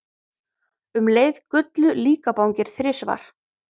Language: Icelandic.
Um leið gullu líkabangir þrisvar.